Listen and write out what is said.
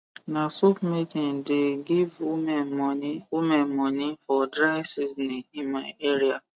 na soap making the give women moni women moni for dry seasoning in my area